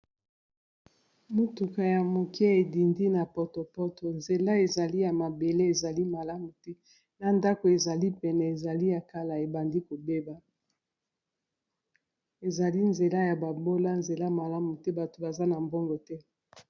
motuka ya moke edindi na potopoto nzela ezali ya mabele ezali malamu te na ndako ezali pene ezali ya kala ebandi kobeba ezali nzela ya babola nzela malamu te bato baza na mbongo te